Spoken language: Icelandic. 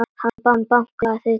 Hann bakar þig alltaf.